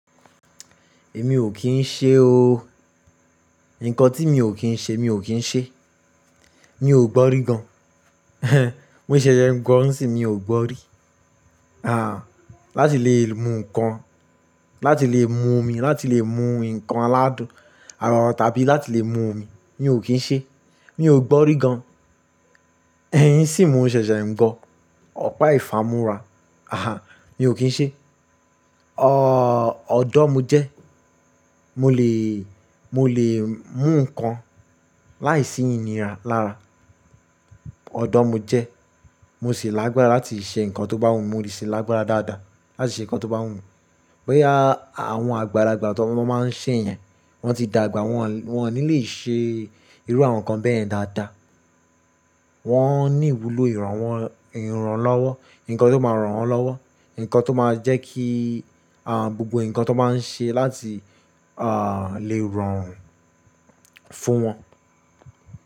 Èmi ò kí ń ṣe o. Ǹnkan tí mi ò kí ń ṣe, mi ò kí ń ṣe. Mi ò gbọ́rí gan. Mo ṣẹ̀ṣẹ̀ ń gbọ́ ni sin yiì mi ò gbọ́rí. Àh, láti lè mu nǹkan, láti lè mu omi, láti lè mu nǹkan aládùn, àràrá tàbí láti lè mu omi, mi ò kí ń ṣe. Mi ò gbọ́rí gan. Sì mó ṣẹ̀ṣẹ̀ ń gbọ́. Ọ̀pá ìfámú rá. Aha, mi ò kí ń ṣe. Ọ̀dọ́ mo jẹ́, mo lè, mo lè mú nǹkan láìsí iniira lára. Ọ̀dọ́ mo jẹ́, mo ṣì lágbára láti ṣe nǹkan tó bá wù mí, mo ṣì lágbára dáadáa láti ṣe nǹkan tó bá wù mí. Bóyá àwọn àgbàlagbà tó máa ń ṣe yẹn, wọ́n ti dàgbà, wọ́n ò ní lè ṣe irú àwọn nǹkan bẹ́ẹ̀ yen dáadáa. Wọ́n ní ìwúlò ìrànwọ́, ìrànlọ́wọ́, nǹkan tó máa ràn wọ́n lọ́wọ́, nǹkan tó máa jẹ́ kí, gbogbo nǹkan tó n máa ń ṣe láti, lè rorun fún wọn.